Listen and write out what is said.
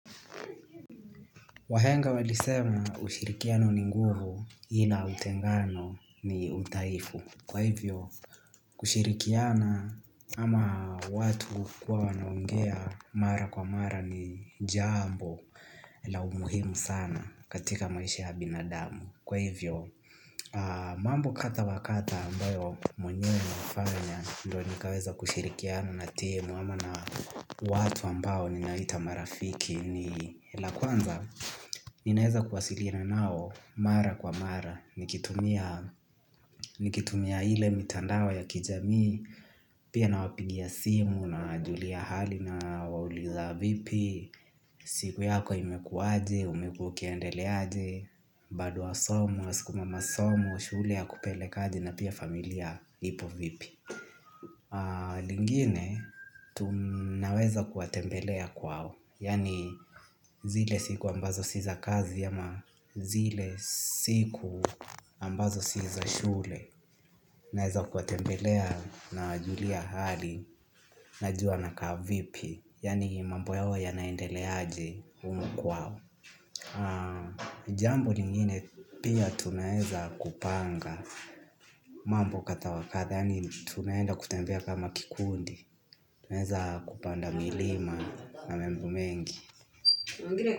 Wahenga walisema, "ushirikiano ni nguvu, ila utengano ni udhaifu". Kwa hivyo kushirikiana ama watu kuwa wanaongea mara kwa mara ni jambo la umuhimu sana katika maisha ya binadamu. Kwa hivyo mambo kadha wa kadha ambayo mwenyewe nafanya ndo nikaweza kushirikiana na timu ama na watu ambao ninaita marafiki. Ni la kwanza, ninaweza kuwasilina nao mara kwa mara nikitumia ile mitandao ya kijamii. Pia nawapigia simu, nawajulia hali, nawauliza vipi siku yako imekuwaje, ukiendeleaje, nado wasoma, unasukuma masomo shule yakupelekaje na pia familia ipo vipi. Lingine, tunaweza kuwatembelea kwao. Yani zile siku ambazo si za kazi ama zile siku ambazo si za shule. Naweza kuwatembelea nawajulia hali, najua nakaa vipi yani mambo yao yanaendeleaje humu kwao. Jambo ningine pia tunaweza kupanga mambo kadha wa kadha yani tunaenda kutembea kama kikundi, tunaweza kupanda milima na mambo mengi.